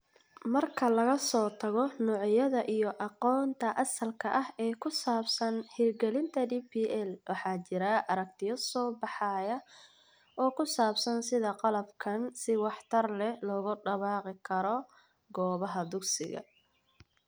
Marka laga soo tago noocyada iyo aqoonta asalka ah ee ku saabsan hirgelinta DPL, waxaa jira aragtiyo soo baxaya oo ku saabsan sida qalabkan si waxtar leh loogu dabaqi karo goobaha dugsiga.